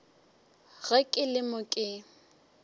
ge ke le mo ke